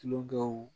Tulo dɔw